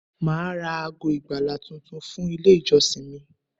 Màá ra ago ìgbàlà tuntun fún Ilé ìjọsìn mi